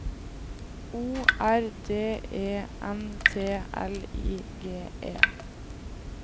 O R D E N T L I G E